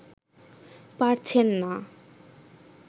পারছেন না